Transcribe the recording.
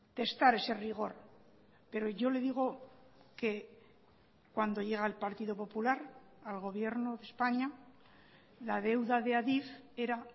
testar ese rigor pero yo le digo que cuando llega el partido popular al gobierno de españa la deuda de adif era